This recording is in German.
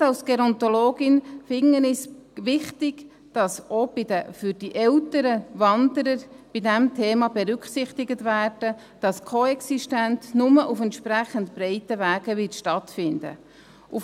Gerade als Gerontologin finde ich es wichtig, dass mit Blick auf die älteren Wanderer bei diesem Thema auch berücksichtigt wird, dass die Koexistenz nur auf entsprechend breiten Wegen stattfinden wird.